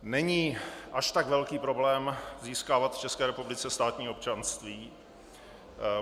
Není až tak velký problém získávat v České republice státní občanství.